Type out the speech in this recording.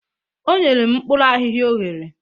O nyere m mkpuru ahihia o ghere